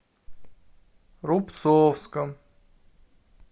рубцовском